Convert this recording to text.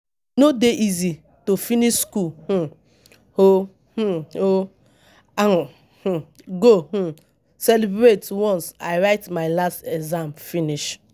E no dey easy to finish skool um o, um o, I um go um celebrate once I write my last exam finish.